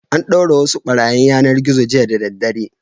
An ɗaure wasu ɓarayin yanar-gizo jiya da daddare.